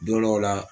Don dɔw la